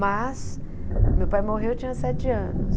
Mas, meu pai morreu, eu tinha sete anos.